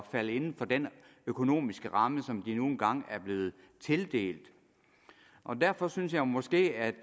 falde inden for den økonomiske ramme som de nu engang er blevet tildelt derfor synes jeg måske at